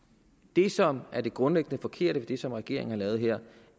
det som er det grundlæggende forkerte i det som regeringen har lavet her